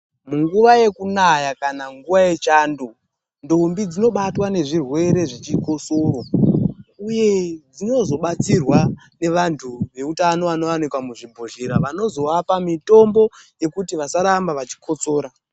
Munguwa yekunaya kana nguwa yechando, ndombi dzinobatwa nezvirwere zvechikosoro. Uye dzinozobatsirwa nevantu veutano vanowanika muzvibhedhlera, vanozoapa mitombo yekuti vasaramba vachikotsora.